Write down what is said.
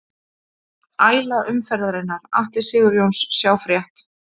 Æla umferðarinnar: Atli Sigurjónsson Sjá frétt